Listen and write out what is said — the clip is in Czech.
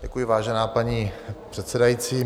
Děkuji, vážená paní předsedající.